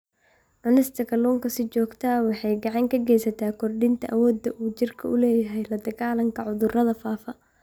Cunista kalluunka si joogto ah waxay gacan ka geysataa kordhinta awoodda uu jidhku u leeyahay la-dagaallanka cudurrada faafa.